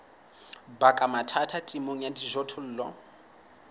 baka mathata temong ya dijothollo